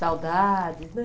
Saudade, né?